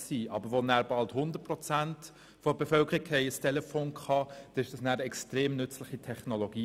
Sobald aber fast 100 Prozent der Bevölkerung über ein Telefon verfügten, wurde dies eine extrem nützliche Technologie.